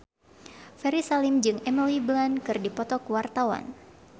Ferry Salim jeung Emily Blunt keur dipoto ku wartawan